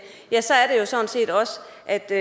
er det